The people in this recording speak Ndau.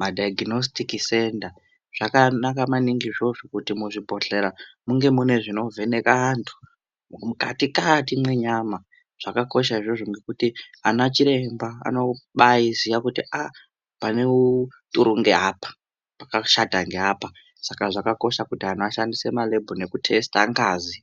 madhaiginositiki senda. Zvakanaka maningi izvozvo kuti muzvibhodhlera munge mune zvinovheneka antu antu mukati-kati mwenyama zvakakosha izvozvo ngekuti ana chiremba anobaiziya kuti aa pane uturu ngeapa, pakashata ngeapa Saka zvakakosha kuti anhu ashandise malebhu nekutesita ngazi.